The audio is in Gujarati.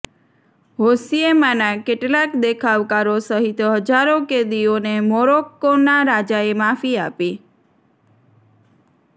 હોસિયેમાના કેટલાક દેખાવકારો સહિત હજારો કેદીઓને મોરોક્કોના રાજાએ માફી આપી